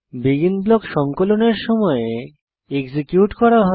begin block সংকলনের সময় execute করা হয়